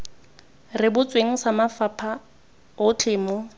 rebotsweng sa mafapha otlhe mo